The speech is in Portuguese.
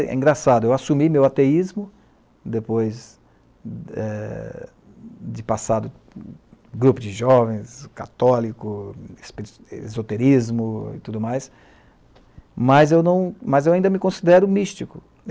É engraçado, eu assumi meu ateísmo depois é de passar de grupo de jovens, católico, esoterismo e tudo mais, mas eu ainda me considero místico.